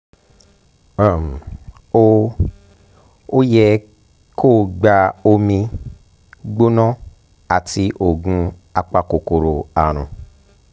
um ó um yẹ kó o gba omi um gbóná àti oògùn apakòkòrò àrùn